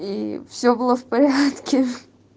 и все было в порядке